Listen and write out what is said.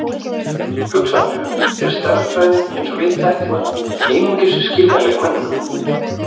Hugsanlega er stærðfræðin eins og við þekkjum hana einungis skiljanleg mönnum.